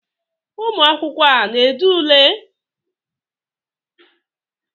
ụmụ akwụkwọ a na-ede ule?